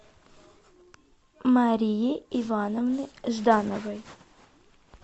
марии ивановны ждановой